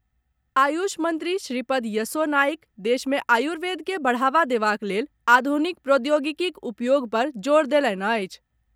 आयुष मंत्री श्रीपद यसो नाइक देश मे आयुर्वेद के बढ़ावा देबाक लेल आधुनिक प्रौद्योगिकीक उपयोग पर जोर देलनि अछि।